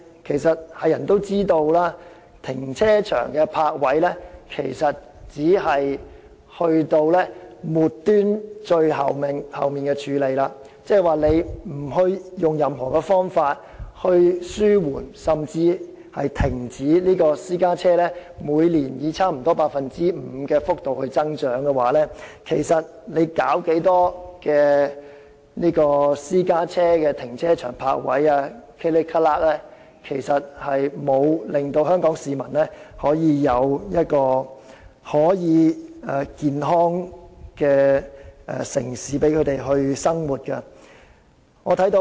但是，眾所周知，泊車位只是最末端的處理措施，如不採用任何方法紓緩甚至煞停私家車以每年差不多 5% 的幅度繼續增長，無論增加多少供私家車使用的停車場和泊車位，也不能令香港市民得享健康的城市生活。